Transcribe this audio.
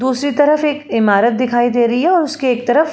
दूसरी तरह एक इमारत दिखाई दे रही है और उसके एक तरफ--